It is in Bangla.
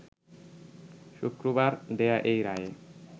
শুক্রবার দেয়া এই রায়ে